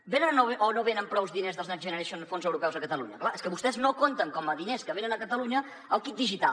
venen o no venen prous diners dels next generation dels fons europeus a catalunya clar és que vostès no compten com a diners que venen a catalunya el kit digital